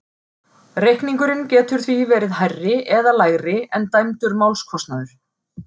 Reikningurinn getur því verið hærri eða lægri en dæmdur málskostnaður.